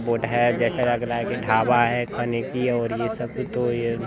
वो ढेर जैसा लग रहा है कि ढाबा है खाने की और ये सब भी तो ये--